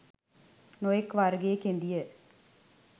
නොයෙක් වර්ගයේ කෙඳිය.